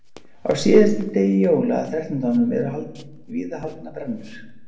Á síðasta degi jóla, Þrettándanum, eru víða haldnar brennur.